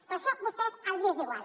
però això a vostès els és igual